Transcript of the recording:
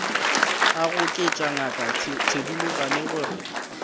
a goketša ngaka thedimogane gore